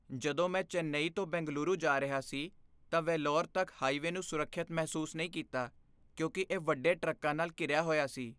ਜਦੋਂ ਮੈਂ ਚੇਨਈ ਤੋਂ ਬੈਂਗਲੁਰੂ ਜਾ ਰਿਹਾ ਸੀ ਤਾਂ ਵੇਲੋਰ ਤੱਕ ਹਾਈਵੇਅ ਨੂੰ ਸੁਰੱਖਿਅਤ ਮਹਿਸੂਸ ਨਹੀਂ ਕੀਤਾ ਕਿਉਂਕਿ ਇਹ ਵੱਡੇ ਟਰੱਕਾਂ ਨਾਲ ਘਿਰਿਆ ਹੋਇਆ ਸੀ।